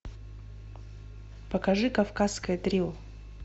покажи кавказское трио